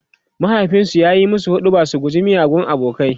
mahaifinsu ya musu huɗubar su guji miyagun abokanai